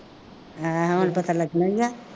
ਹੈਂ ਹੁਣ ਪਤਾ ਲੱਗਣਾ ਹੀ ਹੈ